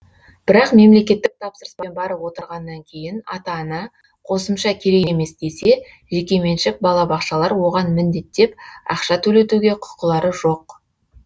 бірақ мемлекетттік тапсырыспен барып отырғаннан кейін ата ана қосымша керек емес десе жекеменшік балабақшалар оған міндеттеп ақша төлетуге құқылары жоқ